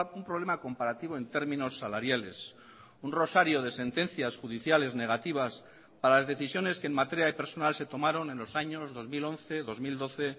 un problema comparativo en términos salariales un rosario de sentencias judiciales negativas para las decisiones que en materia de personal se tomaron en los años dos mil once dos mil doce